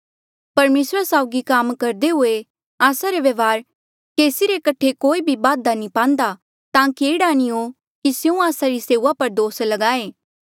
परमेसरा साउगी काम करदे हुए आस्सा रा व्यवहार केसी रे कठे कोई भी बाधा नी पांदा ताकि एह्ड़ा नी हो कि स्यों आस्सा री सेऊआ पर दोस लगाये